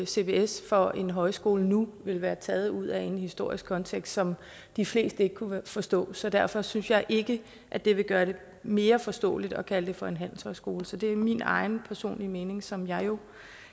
cbs for en højskole nu vil være taget ud af en historisk kontekst som de fleste ikke ville kunne forstå så derfor synes jeg ikke at det vil gøre det mere forståeligt at kalde det for en handelshøjskole så det er min egen personlige mening som jeg jo